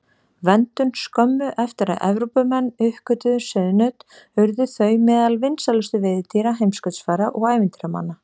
Verndun Skömmu eftir að Evrópumenn uppgötvuðu sauðnaut urðu þau meðal vinsælustu veiðidýra heimskautsfara og ævintýramanna.